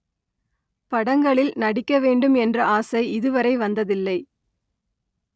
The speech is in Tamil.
படங்களில் நடிக்க வேண்டும் என்ற ஆசை இதுவரை வந்ததில்லை